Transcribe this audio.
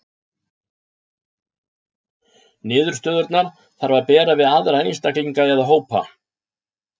Niðurstöðurnar þarf að bera við aðra einstaklinga eða hópa.